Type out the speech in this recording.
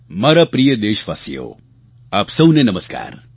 મારા પ્રિય દેશવાસીઓ આપ સહુને નમસ્કાર